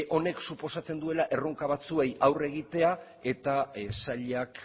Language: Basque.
honek suposatzen duela erronka batzuei aurre egitea eta sailak